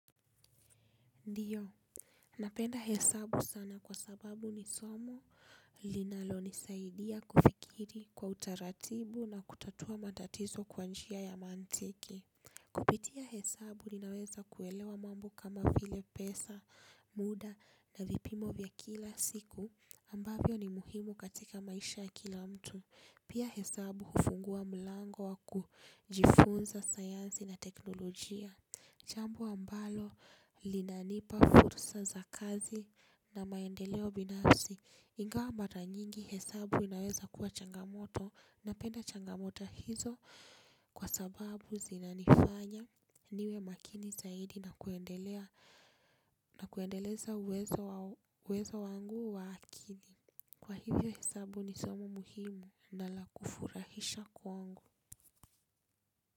Ndio, napenda hesabu sana kwa sababu ni somo linalonisaidia kufikiri kwa utaratibu na kutatua matatizo kwa njia ya mantiki. Kupitia hesabu ninaweza kuelewa mambo kama vile pesa, muda na vipimo vya kila siku ambavyo ni muhimu katika maisha ya kila mtu. Pia hesabu hufungua mlango wa kujifunza sayansi na teknolojia. Chambo ambalo linanipa fursa za kazi na maendeleo binafsi. Ingawa mbata nyingi hesabu inaweza kuwa changamoto napenda changamoto hizo kwa sababu zinanifanya niwe makini zaidi na kuendeleza uwezo wangu wa akili. Kwa hivyo hesabu ni somo muhimu na lakufurahisha kwangu.